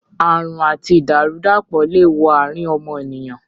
Àrùn àti ìdàrú-dàpọ̀ le wo àrín ọmọnìyàn